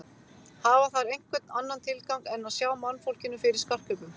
Hafa þær einhvern annan tilgang en að sjá mannfólkinu fyrir skartgripum?